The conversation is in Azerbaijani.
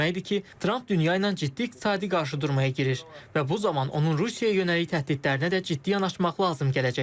Tramp dünya ilə ciddi iqtisadi qarşıdurmaya girir və bu zaman onun Rusiyaya yönəlik təhdidlərinə də ciddi yanaşmaq lazım gələcək.